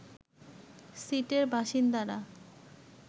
সিটের বাসিন্দারা